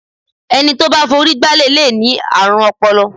Ẹni tó bá forí gbálẹ̀ lè ní àrùn ọpọlọ.